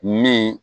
Min